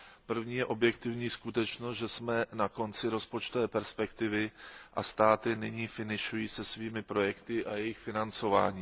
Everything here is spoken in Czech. První je objektivní skutečnost, že jsme na konci rozpočtové perspektivy, a státy nyní finišují se svými projekty a jejich financováním.